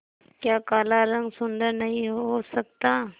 क्या काला रंग सुंदर नहीं हो सकता